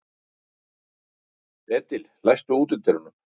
Edil, læstu útidyrunum.